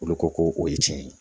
Olu ko ko o ye tiɲɛ ye